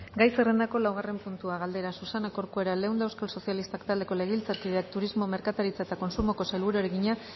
gai zerrendako laugarren puntua galdera susana corcuera leunda euskal sozialistak taldeko legebiltzarkideak turismo merkataritza eta kontsumoko sailburuari egina